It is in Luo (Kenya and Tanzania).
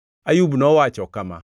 Ayub nowacho kama: